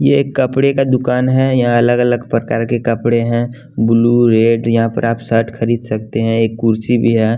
ये एक कपड़े का दुकान है यहाँ अलग अलग प्रकार के कपड़े हैं ब्लू रेड यहाँ पर आप शर्ट खरीद सकते हैं एक कुर्सी भी है।